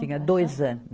Tinha dois anos.